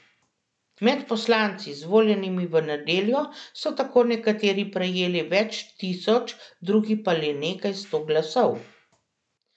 Med poslanci, izvoljenimi v nedeljo, so tako nekateri prejeli več tisoč, drugi pa le nekaj sto glasov.